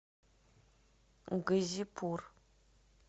газипур